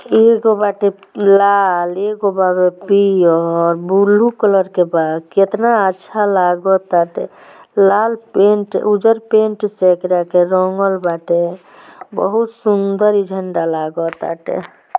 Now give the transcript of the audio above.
एक बाटे लाल एक बाटे पियर ब्लू कलर के बा कितना अच्छा लागत बाटे लाल पेंट उज्ज्जर पेंट से इकरा के रंगल बाटे बहुत सुंदर झंडा लागल बाटे।